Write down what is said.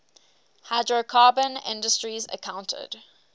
hydrocarbon industries accounted